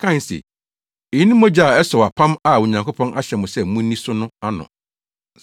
kae se, “Eyi ne mogya a ɛsɔw apam a Onyankopɔn ahyɛ mo sɛ munni so no ano.”